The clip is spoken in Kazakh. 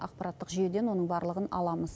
ақпараттық жүйеден оның барлығын аламыз